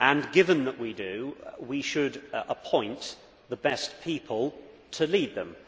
Given that we do, we should appoint the best people to lead them.